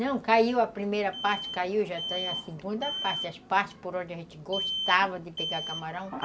Não, caiu a primeira parte, caiu já tem a segunda parte, as partes por onde a gente gostava de pegar camarão.